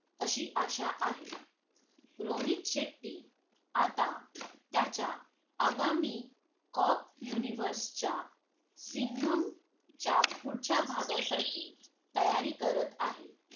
अशी अशा आहे रोहित शेट्टी आता त्याच्या आगामी cop universe च्या सिंघम च्या पुढच्या भागासाठी तयारी करत आहे